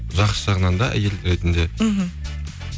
жақсы жағынан да әйел ретінде мхм